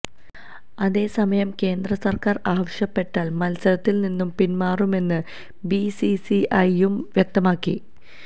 അതെ സമയം കേന്ദ്രസർക്കാർ ആവശ്യപ്പെട്ടാൽ മത്സരത്തിൽ നിന്നും പിന്മാറുമെന്ന് ബിസിസിഐയും വ്യക്തമാക്കി